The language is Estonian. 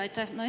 Aitäh!